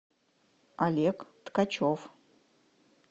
олег ткачев